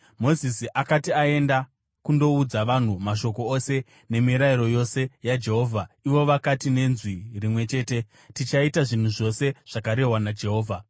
Mozisi akati aenda kundoudza vanhu mashoko ose nemirayiro yose yaJehovha, ivo vakati nenzwi rimwe chete, “Tichaita zvinhu zvose zvakarehwa naJehovha.”